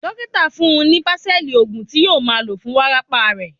Dókítà fún-un ní bánsẹ̀lì, òògùn tí yóò máa lò fún wárápá rẹ̀.